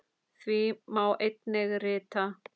Því má einnig rita